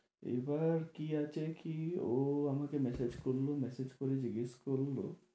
এবার কি আছে কি ও আমাকে message করলো, message করে জিজ্ঞেস করলো